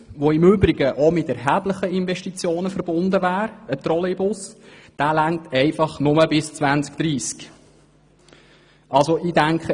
Dieser wäre im Übrigen mit erheblichen Investitionen verbunden und seine Kapazitäten wären nur bis zum Jahr 2030 ausreichend.